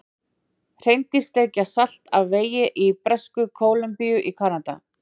Hreindýr sleikja salt af vegi í Bresku-Kólumbíu í Kanada.